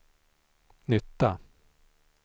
nytta